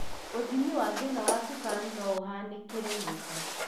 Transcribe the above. ũthimi wa thĩna wa cukari noũhanĩkĩre nyũmba